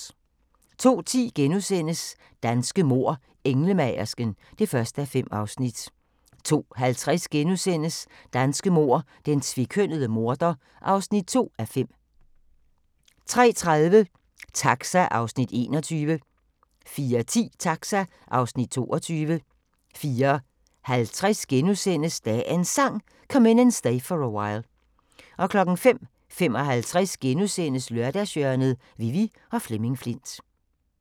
02:10: Danske mord: Englemagersken (1:5)* 02:50: Danske mord: Den tvekønnede morder (2:5)* 03:30: Taxa (Afs. 21) 04:10: Taxa (Afs. 22) 04:50: Dagens Sang: Come In And Stay For A While * 05:55: Lørdagshjørnet: Vivi og Flemming Flindt *